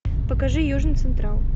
покажи южный централ